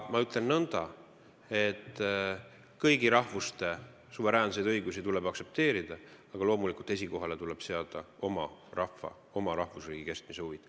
Ma ütlen, et kõigi rahvuste suveräänseid õigusi tuleb aktsepteerida, aga loomulikult tuleb esikohale seada oma rahva, oma rahvusriigi kestmise huvid.